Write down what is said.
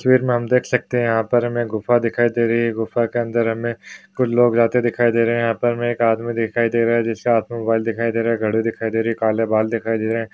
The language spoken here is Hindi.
तस्वीर मे हम देख सकते है यहा पर हमे गुफा दिखाई दे रही है गुफा के अंदर हमे कुछ लोग आते दिखाई दे रहे है यहा पर मे एक आदमी दिखाई दे रहा है जिसके हात मे मोबाईले दिखाई दे रहा है घड़ी दिखाई दे रही है काले बाल दिखाई दे रहे है।